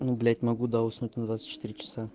ну блять могу да уснуть на двадцать четыре часа